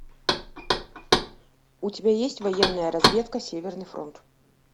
у тебя есть военная разведка северный фронт